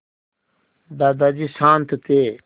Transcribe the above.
दादाजी शान्त थे